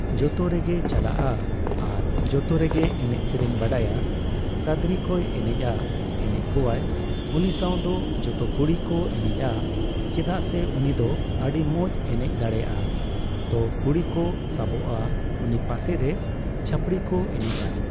ᱡᱚᱛᱚ ᱨᱮᱜᱮᱭ ᱪᱟᱞᱟᱜᱼᱟ᱾ ᱟᱨ ᱡᱚᱛᱚ ᱨᱮᱜᱮᱭ ᱮᱱᱮᱡ ᱥᱮᱨᱮᱧ ᱵᱟᱲᱟᱭᱟ᱾ ᱥᱟᱫᱨᱤ ᱠᱚᱭ ᱮᱱᱮᱡᱼᱟ, ᱮᱱᱮᱡ ᱠᱚᱣᱟᱭ᱾ ᱩᱱᱤ ᱥᱟᱣ ᱫᱚ ᱡᱚᱛᱚ ᱠᱩᱲᱤ ᱠᱚ ᱮᱱᱮᱡᱼᱟ, ᱪᱮᱫᱟᱜ ᱥᱮ ᱩᱱᱤ ᱫᱚ ᱟᱹᱰᱤ ᱢᱚᱸᱡ ᱮᱱᱮᱡ ᱫᱟᱲᱮᱭᱟᱜᱼᱟ᱾ ᱛᱚ ᱠᱩᱲᱤ ᱠᱚ ᱥᱟᱵᱚᱜᱼᱟ ᱩᱱᱤ ᱯᱟᱥᱮ ᱨᱮ᱾ ᱪᱷᱟᱹᱯᱲᱤ ᱠᱚ ᱮᱱᱮᱡᱼᱟ᱾